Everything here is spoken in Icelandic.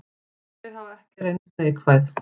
Þau hafi ekki reynst neikvæð.